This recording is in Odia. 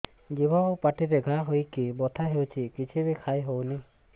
ଜିଭ ଆଉ ପାଟିରେ ଘା ହେଇକି ବଥା ହେଉଛି କିଛି ବି ଖାଇହଉନି